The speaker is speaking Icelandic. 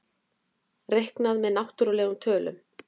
Reiknað með náttúrlegum tölum.